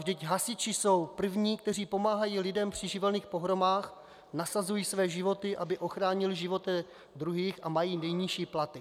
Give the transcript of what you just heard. Vždyť hasiči jsou první, kteří pomáhají lidem při živelních pohromách, nasazují své životy, aby ochránili životy druhých, a mají nejnižší platy.